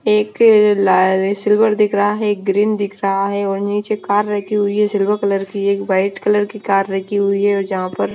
एक लाल सिल्वर दिख रहा है एक ग्रीन दिख रहा है और नीचे कार रखी हुई है सिल्वर कलर की एक वाइट कलर की कार रखी हुई है और जहां पर --